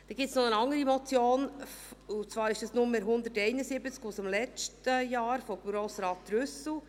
Dann gibt es noch eine andere Motion, die Nummer 171 aus dem letzten Jahr von Grossrat Trüssel.